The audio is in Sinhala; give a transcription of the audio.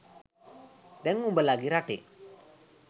දැන් නුඹලගෙ රටේ